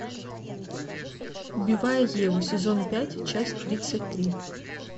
убивая еву сезон пять часть тридцать три